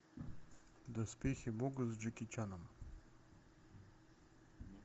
доспехи бога с джеки чаном